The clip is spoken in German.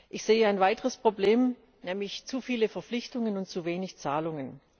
Ich sehe noch ein weiteres Problem, nämlich zu viele Verpflichtungen und zu wenig Zahlungen.